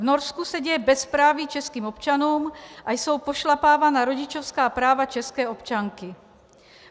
V Norsku se děje bezpráví českým občanům a jsou pošlapávána rodičovská práva české občanky.